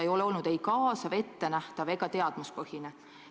See eelnõu ei ole kaasav, ettenähtav ega teadmuspõhine.